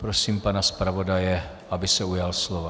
Prosím pana zpravodaje, aby se ujal slova.